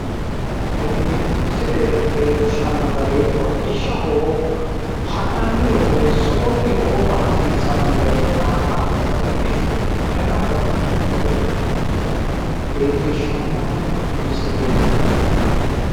tini misile leellishano gari hodhishaho hannani woyite suununi oofa hasissano gedena hattono hodhishu dana baxxino gede ikka leellishano misileti